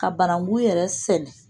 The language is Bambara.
Ka bananku yɛrɛ sɛnɛ